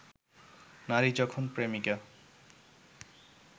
নারী যখন প্রেমিকা